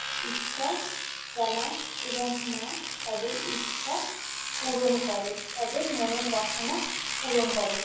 ইচ্ছা জানায় এবং মা তাদের ইচ্ছা পূরণ করে তাদের মনের বাসনা পূরণ করে।